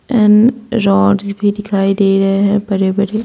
And rods भी दिखाई दे रहे है बड़े-बड़े।